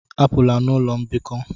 Apụla n'ụlọ mbikọ!